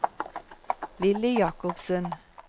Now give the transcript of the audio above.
Villy Jacobsen